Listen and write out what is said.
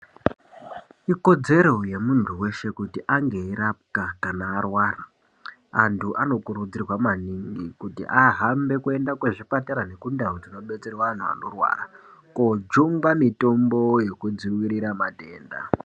Ikodzero yemuntu weshe kuti ange eirapwa kana arwara. Antu anokurudzirwa maningi kuti ahambe kuenda kuzvipatara nekundau dzinodetserwa antu anorwara kojungwa mitombo yekudzivirira matenda.